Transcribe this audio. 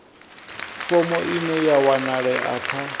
fomo ine ya wanalea kha